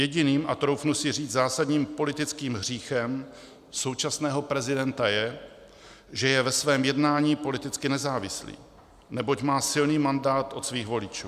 Jediným a troufnu si říct zásadním politickým hříchem současného prezidenta je, že je ve svém jednání politicky nezávislý, neboť má silný mandát od svých voličů.